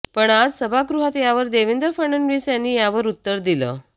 पण आज सभागृहात यावर देवेंद्र फडणवीस यांनी यावर उत्तर दिलं